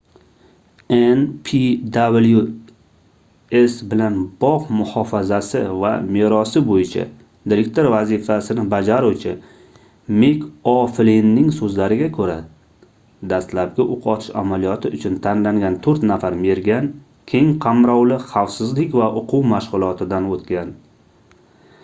npws bilan bogʻ muhofazasi va merosi boʻyicha direktor vazifasini bajaruvchi mik oʻflinning soʻzlariga koʻra dastlabki oʻq otish amaliyoti uchun tanlangan toʻrt nafar mergan keng qamrovli xavfsizlik va oʻquv mashgʻulotidan oʻtgan